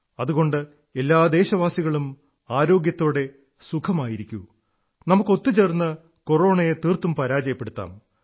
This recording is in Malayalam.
അതുകൊണ്ട് എല്ലാ ദേശവാസികളും ആരോഗ്യത്തോടെ സുഖമായിരിക്കൂ നമുക്കൊത്തുചേർന്ന് കോറോണയെ തീർത്തും പരാജയപ്പെടുത്താം